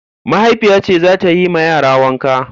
Mahaifiya ce za ta yi ma yara wanka.